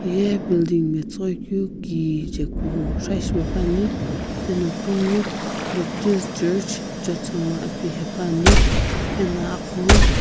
hiya building matsiighoi kue kijae kusho shipae paane ano kunghuo baptist church jotsoma ene haepane aneo agho.